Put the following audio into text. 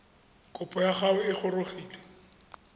kopo ya gago e gorogile